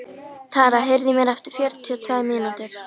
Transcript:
Tara, heyrðu í mér eftir fjörutíu og tvær mínútur.